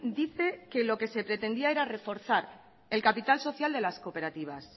dice que lo que se pretendía era reforzar el capital social de las cooperativas